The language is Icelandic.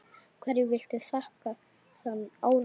Hverju viltu þakka þann árangur?